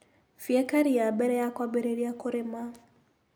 Fieka ria mbere ya kũambĩrĩra kũrĩma.